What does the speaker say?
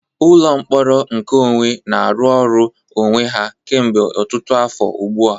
Ụlọ mkpọrọ nkeonwe na-arụ ọrụ onwe ha kemgbe ọtụtụ afọ ugbu a.